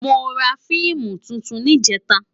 Mó rá fiimú tútún nijètá